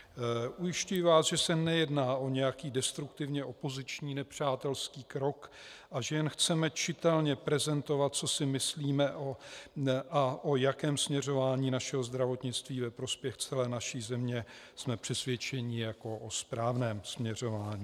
Ujišťuji vás, že se nejedná o nějaký destruktivní opoziční nepřátelský krok a že jen chceme čitelně prezentovat, co si myslíme a o jakém směřování našeho zdravotnictví ve prospěch celé naší země jsme přesvědčeni jako o správném směřování.